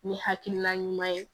Ni hakilina ɲuman ye